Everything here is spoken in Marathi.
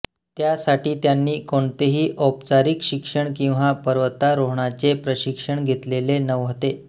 त्यासाठी त्यांनी कोणतेही औपचारिक शिक्षण किंवा पर्वतारोहणाचे प्रशिक्षण घेतलेले नव्हते